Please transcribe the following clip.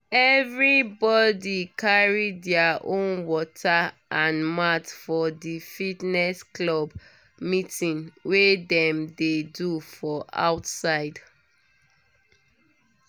everybody carry their own water and mat for the fitness club meeting wey dem dey do for outside